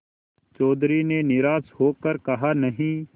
चौधरी ने निराश हो कर कहानहीं